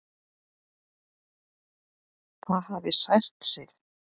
Það hafi sært sig.